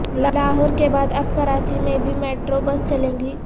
لاہور کے بعد اب کراچی میں بھی میٹرو بس چلے گی